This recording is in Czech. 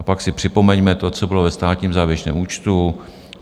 A pak si připomeňme to, co bylo ve státním závěrečném účtu.